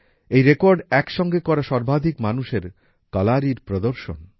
এই রেকর্ড একসঙ্গে করা সর্বাধিক মানুষের কলারীর প্রদর্শন